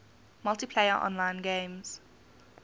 multiplayer online games